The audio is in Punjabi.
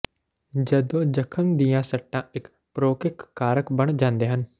ਜਦੋਂ ਜਖਮ ਦੀਆਂ ਸੱਟਾਂ ਇੱਕ ਪ੍ਰੌਕਿਕ ਕਾਰਕ ਬਣ ਜਾਂਦੇ ਹਨ